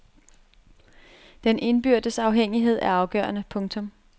Den indbyrdes afhængighed er afgørende. punktum